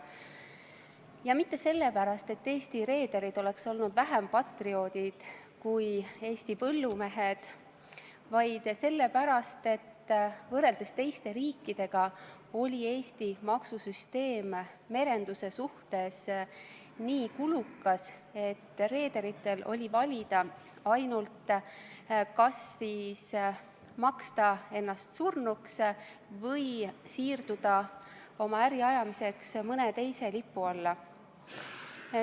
Ja mitte sellepärast, et Eesti reederid oleks olnud vähem patrioodid kui Eesti põllumehed, vaid sellepärast, et võrreldes teiste riikidega oli Eesti maksusüsteem merenduse suhtes nii kulukas, et reederitel oli valida, kas maksta ennast surnuks või siirduda oma äri ajamiseks mõne teise riigi lipu alla.